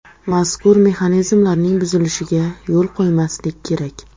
Mazkur mexanizmlarning buzilishiga yo‘l qo‘ymaslik kerak.